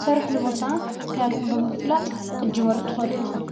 ሠርኅ ልቦታ ክዳንኹም ብምፍላጥ ክጅሙር ትኸሉ ኢኹም።